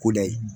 Koda ye